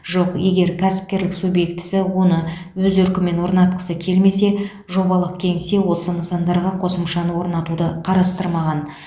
жоқ егер кәсіпкерлік субъектісі оны өз еркімен орнатқысы келмесе жобалық кеңсе осы нысандарға қосымшаны орнатуды қарастырмаған